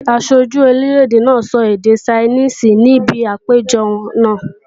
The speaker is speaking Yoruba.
Aṣojú orílè-èdè náà sọ èdè Ṣainíìsì níbi àpéjọ náà